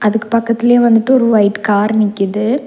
அதுக்கு பக்கத்திலேயே வந்துட்டு ஒரு ஒயிட் கார் நிக்குது.